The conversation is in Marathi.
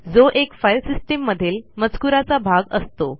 जो एक फाईल सिस्टीम मधील मजकुराचा भाग असतो